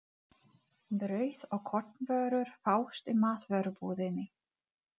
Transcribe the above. Brauð og kornvörur fást í matvörubúðinni.